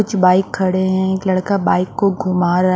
कुछ बाइक खड़े हैं एक लड़का बाइक को घुमा रा--